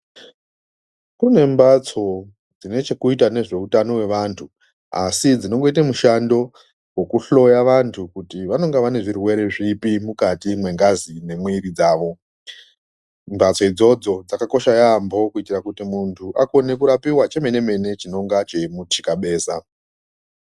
Kune mhatso dzinechekuita nezveutano wevantu asi dzinongoita mushando wekuhloya vantu kuti vanonga vane zvirwere zvipi mukati mwengazi nemwiri dzavo mhatso idzodzo dzakakosha yamho kuti muntu akone kurapiwa chemene mene chinonga cheimutika beza.